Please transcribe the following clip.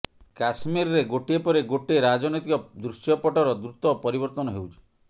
କଶ୍ମୀରରେ ଗୋଟିଏ ପରେ ଗୋଟିଏ ରାଜନୈତିକ ଦୃଶ୍ୟପଟ୍ଟର ଦ୍ରୁତ ପରିବର୍ତ୍ତନ ହେଉଛି